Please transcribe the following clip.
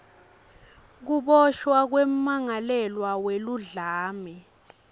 kuboshwa kwemmangalelwa weludlame